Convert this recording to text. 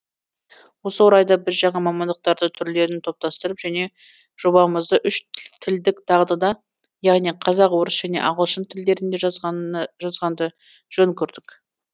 осы орайда біз жаңа мамандықтарды түрлерін топтастырып және жобамызды үш тілдік дағдыда яғни қазақ орыс және ағылшын тілдерінде жазғанды жөн көрдік